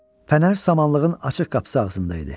Fənər samanlığın açıq qapısı ağzında idi.